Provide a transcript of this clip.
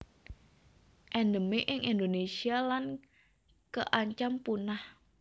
Endemik ing Indonésia lan kaancam punah